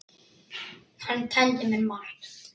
Hann kenndi mér margt.